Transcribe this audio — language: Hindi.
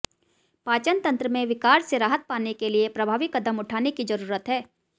पाचन तंत्र में विकार से राहत पाने के लिए प्रभावी कदम उठाने की जरूरत है